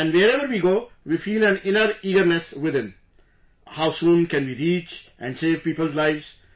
And wherever we go, we feel an inner eagerness within...how soon can we reach and save people's lives